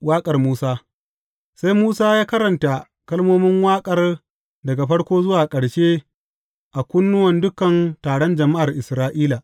Waƙar Musa Sai Musa ya karanta kalmomin waƙar daga farko zuwa ƙarshe a kunnuwan dukan taron jama’ar Isra’ila.